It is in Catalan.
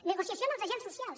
negociació amb els agents socials